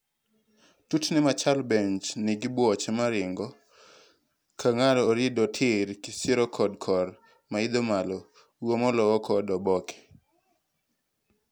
tutni machalo bench nigi buoche maringo kangado orido tirr kisiro kod korr maidho malo. Uomo lowo kod oboke.